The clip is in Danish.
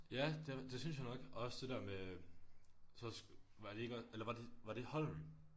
Ja det det synes jeg nok og også det der med så var det ikke også eller var det var det Holm